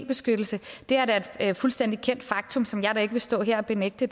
beskyttelse det er da et fuldstændig kendt faktum som jeg da ikke vil stå her og benægte